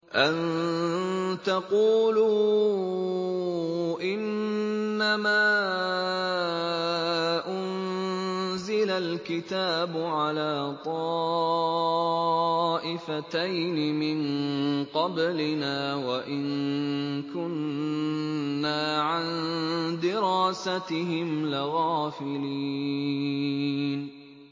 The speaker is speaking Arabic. أَن تَقُولُوا إِنَّمَا أُنزِلَ الْكِتَابُ عَلَىٰ طَائِفَتَيْنِ مِن قَبْلِنَا وَإِن كُنَّا عَن دِرَاسَتِهِمْ لَغَافِلِينَ